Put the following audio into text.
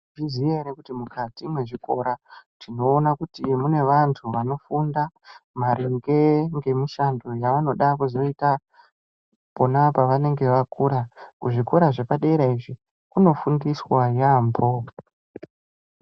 Munozviziya ere kuti mukati mwezvikora tinoona kuti mune vanthu vanofunda maringe ngemushando yavanoda kuzoita pona pavanenge vakura kuzvikora zvepadera izvi kunofundiswa yaambo.